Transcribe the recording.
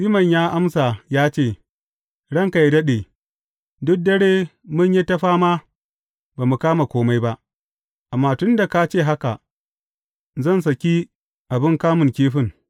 Siman ya amsa ya ce, Ranka yă daɗe, duk dare mun yi ta fama ba mu kama kome ba, amma tun da ka ce haka, zan saki abin kamun kifin.